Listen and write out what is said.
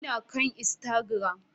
Ina kan Instagram